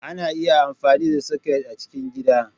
Ana iya amfani da soket a cikin gida.